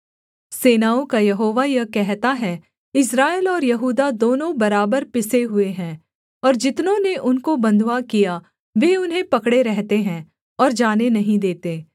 सेनाओं का यहोवा यह कहता है इस्राएल और यहूदा दोनों बराबर पिसे हुए हैं और जितनों ने उनको बँधुआ किया वे उन्हें पकड़े रहते हैं और जाने नहीं देते